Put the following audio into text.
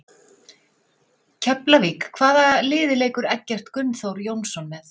Keflavík Hvaða liði leikur Eggert Gunnþór Jónsson með?